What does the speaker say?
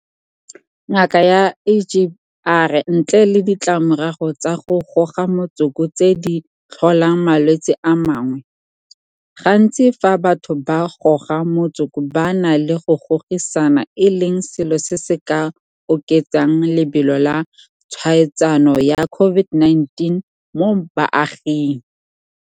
Ngaka Egbe a re ntle le ditlamorago tsa go goga motsoko tse di tlholang malwetse a mangwe, gantsi fa batho ba goga motsoko ba na le go gogisana e leng selo se se ka oketsang lebelo la tshwaetsano ya COVID-19 mo baaging.